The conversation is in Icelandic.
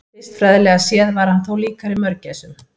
Vistfræðilega séð var hann þó líkari mörgæsum.